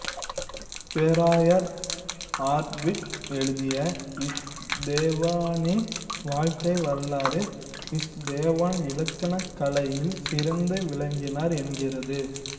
பேராயர் ஆர்ட்விக் எழுதிய இஸ்தேவானின் வாழ்க்கை வரலாறு இஸ்தேவான் இலக்கண கலையில் சிறந்து விளங்கினார் என்கிறது